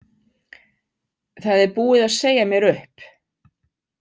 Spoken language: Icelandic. Það er búið að segja mér upp